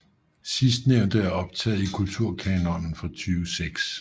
Sidstnævnte er optaget i Kulturkanonen fra 2006